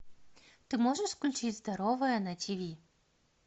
ты можешь включить здоровое на тиви